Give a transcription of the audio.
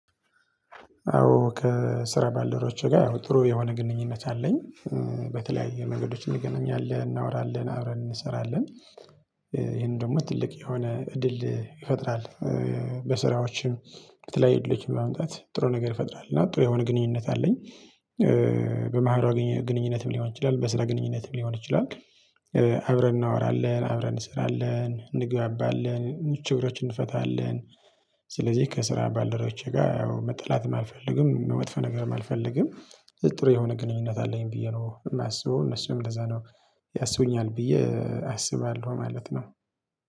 አዎ ከስራ ባልደረቦቼ ጋር ያው ጥሩ የሆነ ግንኙነት አለኝ። በተለያዩ መንገዶችን እንገናኛለን እናውራለን አብረን እንሰራለን ይሄን ደግሞ ትልቅ የሆነ እድል ይፈጥራል። በስራዎችም በተለይ ልጅም በመምጣት ጥሩ ነገር ይፈጥራል እና ጥሩ የሆነ ግንኙነት አለኝ። በማህበራዊ ግንኙነትም ሊሆን ይችላል በስራ ግንኙነትም ሊሆን ይችላል። አብረን እናወራለን አብረን እንሰራለን እንግባባለን ምቹ ነገሮችን እንፈጥራለን። ስለዚህ ከስራ ባልደረቦቼ ጋር ያው መጣላትም አልፈልግም መጥፎ ነገርም አልፈልግም። ጥሩ የሆነ ግንኙነት አለኝ ብዬ ነው የማስበው እነሱም ለዛ ነው ያሰቡኛል ብዬ አስባለሁ ማለት ነው።